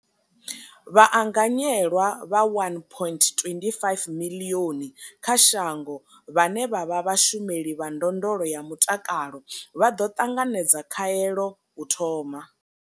Vhaanganyelwa vha 1.25 miḽioni kha shango vhane vha vha vhashumeli vha ndondolo ya mutakalo vha ḓo ṱanganedza khaelo u thoma.